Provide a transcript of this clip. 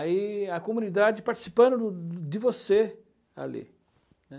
Aí a comunidade participando de você ali, né.